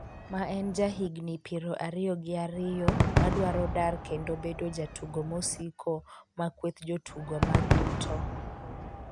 ma en ja higni piero ariyo gi ariyo, ma dwaro dar kendo bedo jatugo mosiko ma kweth jotugo mar Luton